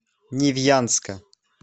невьянска